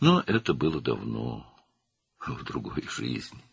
Amma bu çoxdan, başqa bir həyatda idi.